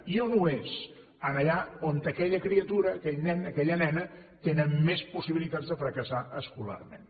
i a on ho és allà on aquella criatura aquell nen aquella nena tenen més possibilitats de fracassar escolarment